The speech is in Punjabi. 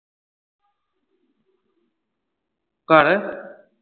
ਘਰ